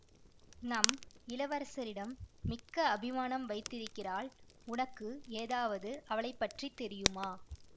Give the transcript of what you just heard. நம் இளவரசரிடம் மிக்க அபிமானம் வைத்திருக்கிறாள் உனக்கு ஏதாவது அவளைப்பற்றித் தெரியுமா